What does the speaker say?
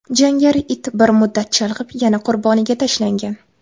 Jangari it bir muddat chalg‘ib yana qurboniga tashlangan.